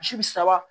Misi bi saba